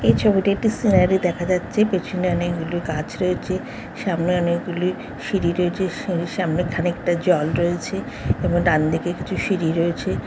এই ছবিতে একটি সিনারি দেখা যাচ্ছে। পেছনে অনেক গুলি গাছ রয়েছে । সামনে অনেক গুলি সিঁড়ি রয়েছে। সিঁড়ির সামনে খানিকটা জল রয়েছে এবং ডান দিকে একটি সিঁড়ি রয়েছে।